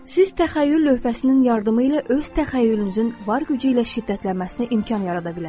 Siz təxəyyül lövhəsinin yardımı ilə öz təxəyyülünüzün var gücü ilə şiddətlənməsinə imkan yarada bilərsiniz.